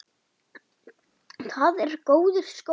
Það er góður skóli.